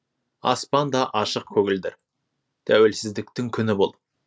аспанда ашық көгілдір тәуелсіздіктің күні бұл